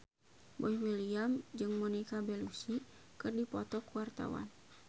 Boy William jeung Monica Belluci keur dipoto ku wartawan